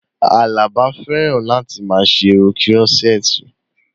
Àlàbá fẹ́ràn láti máa ṣe irun kírọ́sẹ́ẹ̀tì